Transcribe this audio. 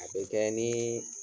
A be kɛ nii